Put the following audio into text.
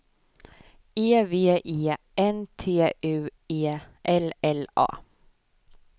E V E N T U E L L A